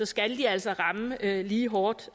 skal de altså ramme lige hårdt